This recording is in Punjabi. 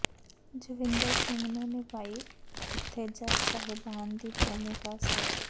ਜਸਵਿੰਦਰ ਨੇ ਨਿਭਾਈ ਉਥੇ ਜੱਜ ਸਾਹਿਬਾਨ ਦੀ ਭੂਮਿਕਾ ਸ